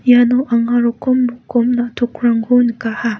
iano anga rokom rokom na·tokrangko nikaha.